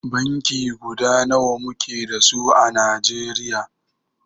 Banki guda nawa muke da su à Najeriya.